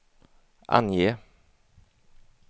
ange